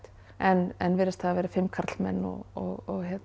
en virðist hafa verið fimm karlmenn og